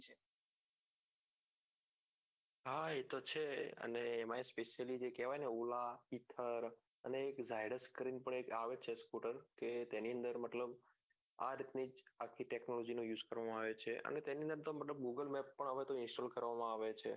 હા એતો છે અને એમાં specially જે કેવાયાને ola uber અને Z Y dus કરીને પણ આવે છે સ્કુટર કે તેની અંદર મતલબ આડ પેજ આખી technology use કરવા માં આવે છે અને તેની અંદર google map પણ install કરવામાં આવે છે